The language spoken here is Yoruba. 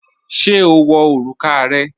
Ṣé o wọ̀ orúkà rẹ̀?